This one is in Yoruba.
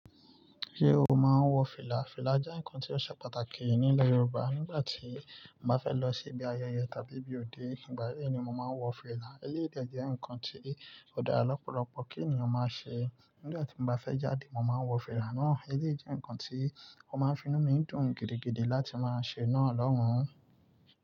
Ṣé o máa ń wọ fìlà? Fìlà jẹ́ ǹkan tí ó ṣe pàtàkì nílẹ̀ Yorùbá. Nígbà tí mo bá fẹ́ lọ sí ibi ayẹyẹ tàbí ibi òde, ìgbà yẹn ni mo máa ń wọ fìlà. Eléyii dẹ jẹ́ ǹkan tí ó dára lọpọ̀lọpọ̀ kí ènìyàn máa ṣe. Nígbà tí mo bá fẹ́ jáde, mo máa ń wọ fìlà náà. Eléyii jẹ́ ǹkan tí ó máa ń fi inú mi dùn gidigidi láti máa ṣe náà lọ́hùn-ún.